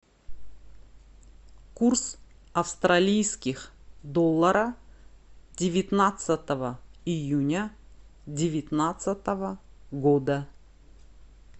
курс австралийских доллара девятнадцатого июня девятнадцатого года